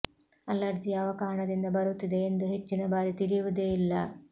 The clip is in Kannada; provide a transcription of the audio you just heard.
ಅಲರ್ಜಿ ಯಾವ ಕಾರಣದಿಂದ ಬರುತ್ತಿದೆ ಎಂದು ಹೆಚ್ಚಿನ ಬಾರಿ ತಿಳಿಯುವುದೇ ಇಲ್ಲ